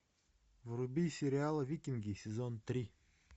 вруби сериал викинги сезон три